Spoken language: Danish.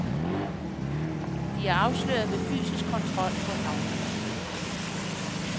De er afsløret ved fysisk kontrol på havnene.